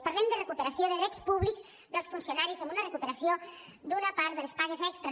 parlem de recuperació de drets públics dels funcionaris amb una recuperació d’una part de les pagues extres